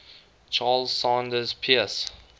charles sanders peirce